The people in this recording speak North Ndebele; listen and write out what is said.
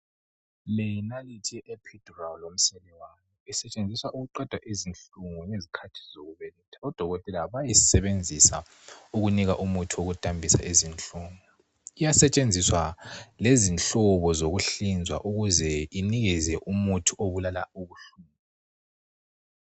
Leyi yinalithi sentshenziswa ukuqeda izinhlungu esikhathini zokubeletha. Odokotela bayisebenzisa kunika umuthi wokudambisa izinhlungu .Iyasentshenziswa lezihlobo zokuhlinzwa ukuze inikeze umuthi obulala izinhlungu.